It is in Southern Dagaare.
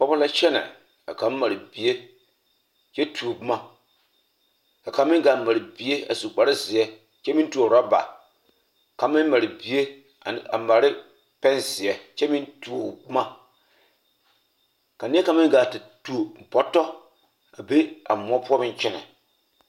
Pɔge la kyɛnɛ ka kaŋ mare bie kyɛ tuo boma ka kaŋ meŋ gaa mare bie a su kparezeɛ kyɛ meŋ tuo orɔba kaŋ meŋ mare bie ane a mare ne pɛnzeɛ kyɛ meŋ tuo boma ka neɛ kaŋ meŋ gaa te tuo bɔtɔ a be moɔ poɔ meŋ kyɛnɛ.